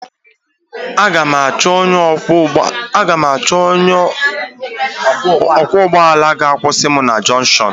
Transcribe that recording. A ga m achọ onye ọkwọ ụgbọ ala ka ọ kwushi m na jonshonu.